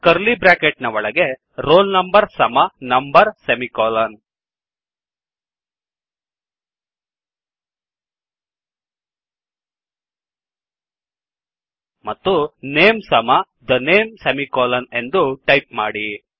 curly bracket ನ ಒಳಗೆ roll number ಸಮ ನಂಬರ್ ಸೆಮಿಕೋಲನ್ ಮತ್ತು ನೇಮ್ ಸಮ the name ಸೆಮಿಕೋಲನ್ ಎಂದು ಟೈಪ್ ಮಾಡಿ